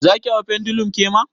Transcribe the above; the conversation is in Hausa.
Zaki hau pendulum kema?